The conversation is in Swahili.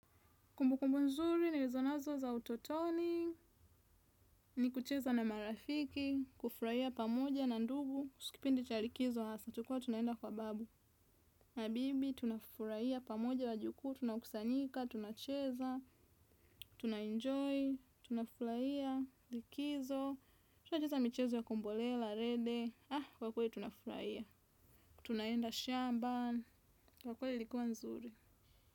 Kumbu kumbu nzuri nilizo nazo za utotoni ni kucheza na marafiki, kufurahia pamoja na ndugu kuhusu kipindi cha likizo hasa tulikua tunaenda kwa babu. Na bibi tuna furahia pamoja wajukuu tuna kusanyika tuna cheza tuna enjoy tuna furahia likizo tuna cheza michezo ya kumbolela rede kwa kweli tuna furahia. Tunaenda shamba kwa kweli ilikuwa nzuri.